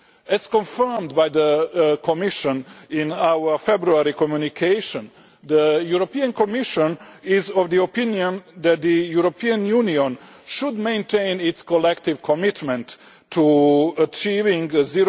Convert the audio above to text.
As confirmed by the Commission in our February communication, the Commission is of the opinion that the European Union should maintain its collective commitment to achieving the